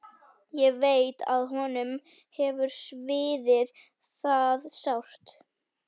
Ég veit að honum hefur sviðið það sárt.